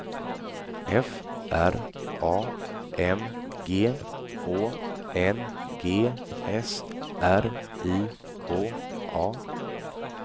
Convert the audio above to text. F R A M G Å N G S R I K A